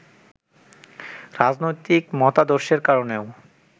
রাজনৈতিক মতাদর্শের কারণেও